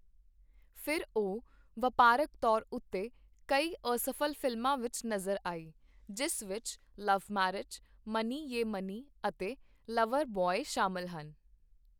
ਫਿਰ ਉਹ ਵਪਾਰਕ ਤੌਰ ਉੱਤੇ ਕਈ ਅਸਫ਼ਲ ਫ਼ਿਲਮਾਂ ਵਿੱਚ ਨਜ਼ਰ ਆਈ, ਜਿਸ ਵਿੱਚ ਲਵ ਮੈਰਿਜ, ਮਨੀ ਯੇ ਮਨੀ ਅਤੇ ਲਵਰ ਬੁਆਏ ਸ਼ਾਮਿਲ ਹਨ।